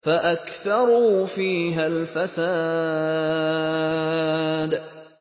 فَأَكْثَرُوا فِيهَا الْفَسَادَ